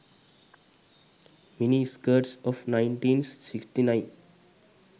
mini skirts of 1969